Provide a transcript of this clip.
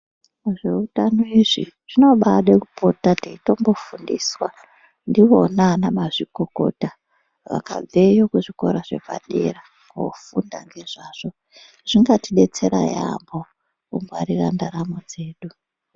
Zveutano izvi zvinobaade kupota teitombofundiswa ndiona anamazvikokota, vakabveyo kuzvikora zvepadera kofunda ngezvazvo. Zvingatidetsera yaamho mukungwarira ndaramo dzedu.